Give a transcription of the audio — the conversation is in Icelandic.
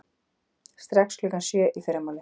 Strax klukkan sjö í fyrramálið.